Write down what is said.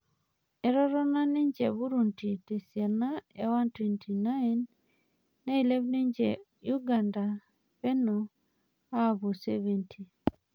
Etotona ninje Burundi tesiana e 129, nilep ninje Ugada peno apuo 70.